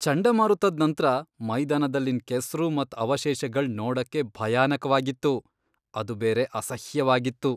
ಚಂಡಮಾರುತದ್ ನಂತ್ರ ಮೈದಾನದಲ್ಲಿನ್ ಕೆಸ್ರು ಮತ್ ಅವಶೇಷಗಳ್ ನೋಡಕ್ಕೆ ಭಯಾನಕವಾಗಿತ್ತು. ಅದು ಬೇರೆ ಅಸಹ್ಯವಾಗಿತ್ತು.